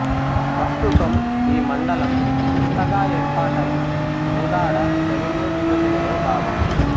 ప్రస్తుతం ఈ మండలం కొత్తగా ఏర్పాటైన కోదాడ రెవిన్యూ డివిజనులో భాగం